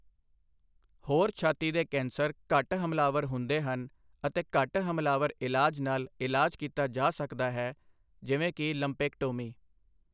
ਹੋਰ ਛਾਤੀ ਦੇ ਕੈਂਸਰ ਘੱਟ ਹਮਲਾਵਰ ਹੁੰਦੇ ਹਨ ਅਤੇ ਘੱਟ ਹਮਲਾਵਰ ਇਲਾਜ ਨਾਲ ਇਲਾਜ ਕੀਤਾ ਜਾ ਸਕਦਾ ਹੈ, ਜਿਵੇਂ ਕਿ ਲੰਪੇਕਟੋਮੀ।